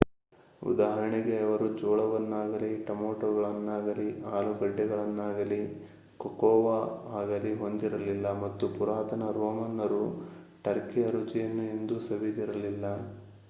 ಉದಾಹರಣೆಗೆ ಅವರು ಜೋಳವನ್ನಾಗಲೀ ಟೊಮಾಟೋಗಳನ್ನಾಗಲೀ ಆಲೂಗಡ್ಡೆಗಳನ್ನಾಗಲೀ ಕೊಕೊವಾ ಆಗಲೀ ಹೊಂದಿರಲಿಲ್ಲ ಮತ್ತು ಪುರಾತನ ರೋಮನ್ನರು ಟರ್ಕಿಯ ರುಚಿಯನ್ನು ಎಂದೂ ಸವಿದಿರಲಿಲ್ಲ